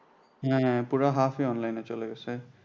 হ্যাঁ পুরা half ই online এই চলে গেছে